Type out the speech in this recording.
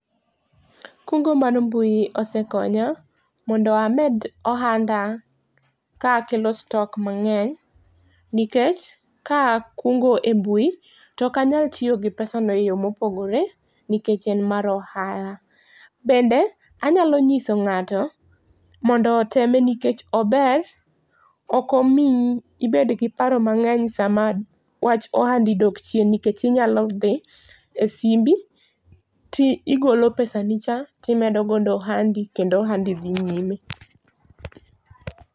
Kungo mar mbui osekonya mondo amed ohanda ka akelo stock mang'eny nikech ka akungo e mbui to ok anyal tiyo gi pesa no e yo ma opogore nikech en mar ohala. Bende anyalo ng'iso ng'ato mondo oteme nikech ober ok omiyi ibed gi paro mang'eny sa ma wach ohandi dok chien nikech inya dhi e simbi to igole pesa ni cha ti imedo godo ohandi to ohandi dhi nyime.